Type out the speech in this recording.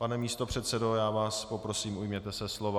Pane místopředsedo, já vás poprosím, ujměte se slova.